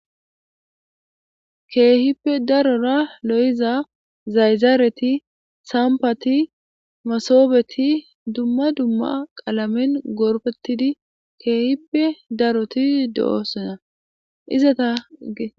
Keehippe darora lo'iza zayzaareti sampati masoobeti dumma dumma qalamen gorpetidi keehippe daroti do'oosonna izata ge